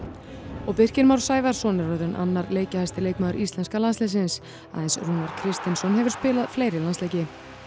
og Birkir Már Sævarsson er orðinn annar leikjahæsti leikmaður íslenska landsliðsins aðeins Rúnar Kristinsson hefur spilað fleiri landsleiki